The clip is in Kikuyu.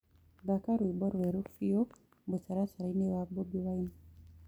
thaka rwĩmbo rweru biu mũtarataraĩnĩ wa boby wine